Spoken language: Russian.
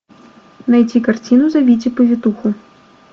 найти картину зовите повитуху